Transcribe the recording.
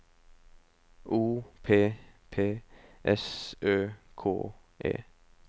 O P P S Ø K E